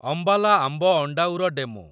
Ambala Amb Andaura DEMU